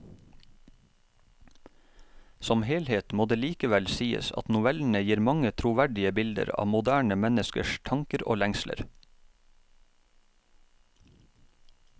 Som helhet må det likevel sies at novellene gir mange troverdige bilder av moderne menneskers tanker og lengsler.